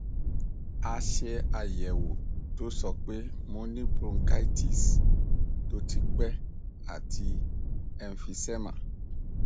a ṣe ayẹwo to sope mo ni bronchitis to ti pe ati emphysema